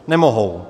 Nemohou.